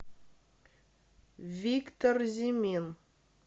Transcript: виктор зимин